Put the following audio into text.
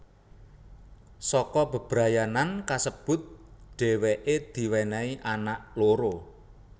Saka bebrayanan kasebut dhèwèké diwènèhi anak loro